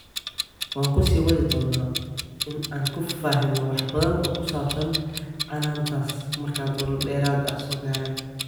Waan ku sii wadi doonaa in aan ku faahfaahin wax badan oo ku saabsan canaantaas markaad warar dheeraad ah soo gaaraan.